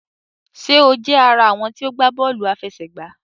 Ṣé o jẹ àrà àwọn tí o gbà bóòlù àfẹsẹ̀gbá?